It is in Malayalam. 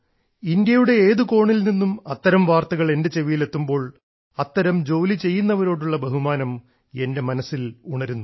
ഇന്ത്യയുടെ ഏത് കോണിൽ നിന്നും അത്തരം വാർത്തകൾ എന്റെ ചെവിയിൽ എത്തുമ്പോൾ അത്തരം ജോലിചെയ്യുന്നവരോടുള്ള ബഹുമാനം എന്റെ മനസ്സിൽ ഉണരുന്നു